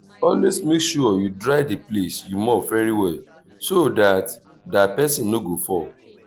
put enough detergent for water wen you wan clean house